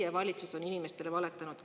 Teie valitsus on inimestele valetanud.